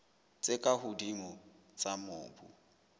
tse ka hodimo tsa mobu